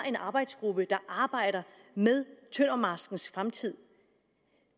en arbejdsgruppe der arbejder med tøndermarskens fremtid